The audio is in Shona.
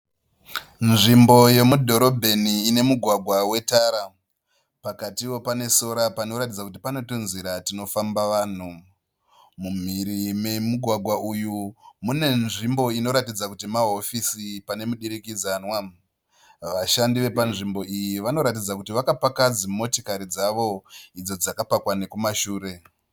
Nzvimbo yemudhorobheni ine mugwagwa wetara. Pakatiwo pane sora panoratidza kuti pane tunzira twunofamba vanhu. Mumhiri memugwagwa uyu mune nzvimbo inoratidza kuti mahofisi pane mudurikidzanwa. Vashandi vepanzvimbo iyi vanoratidza kuti vakapa dzimotokari dzavo idzo dzakapakwa nekumashure.